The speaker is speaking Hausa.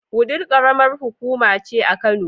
Wudil ƙaramar hukuma ce a Kano.